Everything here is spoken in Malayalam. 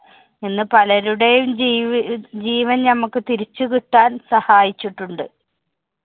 എന്ന് പലരുടെയും ജീവി~ ജീവന്‍ ഞമ്മക്ക് തിരിച്ചുകിട്ടാന്‍ സഹായിച്ചിട്ടുണ്ട്.